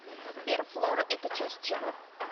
сбер флора это часть чего